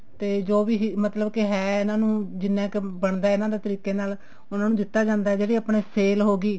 ਤੇ ਜੋ ਵੀ ਮਤਲਬ ਕੇ ਹੈ ਇਹਨਾ ਨੂੰ ਜਿੰਨਾ ਕ ਬਣਦਾ ਇਹਨਾ ਦਾ ਤਰੀਕੇ ਨਾਲ ਉਹਨਾ ਨੂੰ ਦਿੱਤਾ ਜਾਂਦਾ ਜਿਹੜੀ ਆਪਣੀ sale ਹੋਗੀ